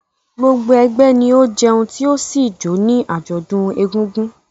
Gbogbo ẹgbẹ́ ni ó jẹun tí ó sì jó ní àjọ̀dún Egúngún.